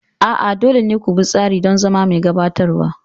A'a, dole ne ku bi tsari don zama mai gabatarwa.